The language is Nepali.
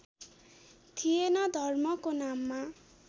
थिएन धर्मको नाममा